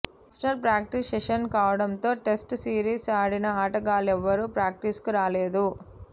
optional practice session కావడంతో test series ఆడిన ఆటగాళ్లెవరూ ప్రాక్టీస్కు రాలేదు